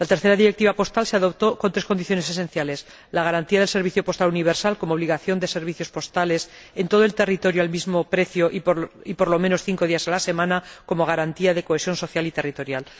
La tercera Directiva postal se adoptó con tres condiciones esenciales la garantía del servicio postal universal como obligación de servicios postales en todo el territorio al mismo precio y, por lo menos, cinco días a la semana, como garantía de cohesión social y territorial